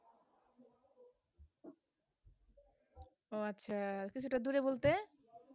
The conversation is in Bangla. ওহ আচ্ছা সেটা দূরে বলতে